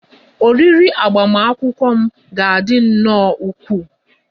Oriri agbamakwụkwọ m ga-adị nnọọ ukwuu